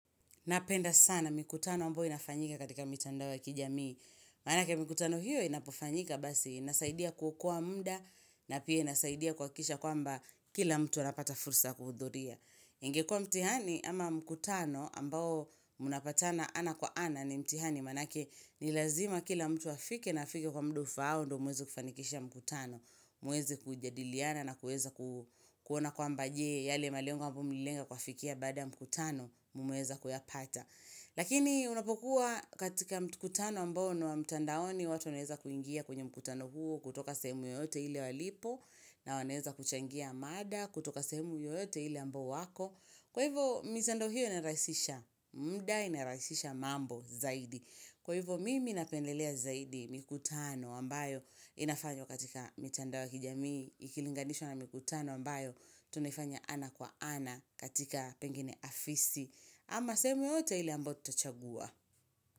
Napenda sana mikutano ambayo inafanyika katika mitandao ya kijamii, maanake mkutano hiyo inapofanyika basi inasaidia kuokoa muda na pia inasaidia kuhakikisha kwamba kila mtu anapata fursa ya kuhudhuria. Ingekuwa mtihani ama mkutano ambao mnapatana ana kwa ana ni mtihani maanake ni lazima kila mtu afike na afike kwa muda ufao ndio muweze kufanikisha mkutano, muweze kujadiliana na kuweza kuona kwamba je yale malengo ambayo mlilenga kuafikia baada mkutano mmeweza kuyapata. Lakini unapokuwa katika mkutano ambayo ni wa mtandaoni watu wanaeza kuingia kwenye mkutano huo kutoka sehemu yoyote ile walipo na wanaeza kuchangia mada kutoka sehemu yoyote ile ambayo wako. Kwa hivyo mitandao hiyo inarahisisha muda inarahisisha mambo zaidi. Kwa hivyo mimi napendelea zaidi mikutano ambayo inafanywa katika mitandao ya kijamii ikilinganishwa na mkutano ambayo tunafanya ana kwa ana katika pengine afisi. Ama sehemu yoyote ile ambayo tutachagua.